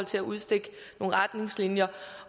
til at udstikke nogle retningslinjer